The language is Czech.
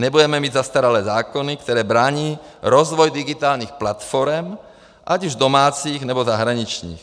Nebudeme mít zastaralé zákony, které brání rozvoji digitálních platforem, ať už domácích, nebo zahraničních.